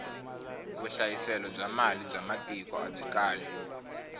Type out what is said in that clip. vuhlayiselo bya mali ba matiko abyi kali